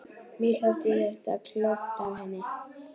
Mér þótti þetta klókt af henni.